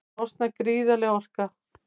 Þá losnar gríðarleg orka.